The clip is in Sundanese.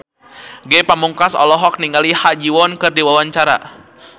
Ge Pamungkas olohok ningali Ha Ji Won keur diwawancara